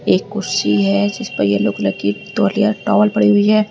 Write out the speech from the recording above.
एक कुर्सी है जिस पर ये लोग तौलिया टॉवल पड़ी हुई है।